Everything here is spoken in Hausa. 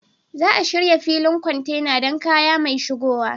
Za a shirya filin kwantena don kaya mai shigowa.